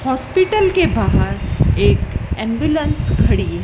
Hospital के बाहर एक एंबुलेंस खड़ी है।